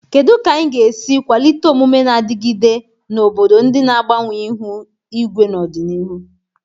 Kedu ka anyị ga-esi kwalite omume na-adigide na obodo ndị na-agbanwe ihu igwe n'ọdịnihu?